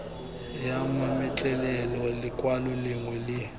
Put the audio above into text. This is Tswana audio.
ya mametlelelo lekwalo lengwe le